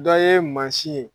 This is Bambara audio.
Dɔ ye mansin ye